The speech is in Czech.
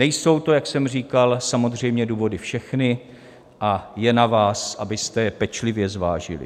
Nejsou to, jak jsem říkal, samozřejmě důvody všechny a je na vás, abyste je pečlivě zvážili.